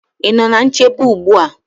Ị nọ ná nchebe ugbu a?